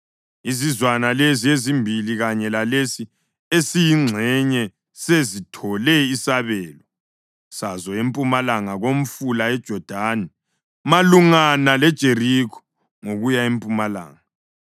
Izizwana lezi ezimbili kanye lalesi esiyingxenye sezithole isabelo sazo empumalanga komfula uJodani malungana leJerikho, ngokuya ngempumalanga.”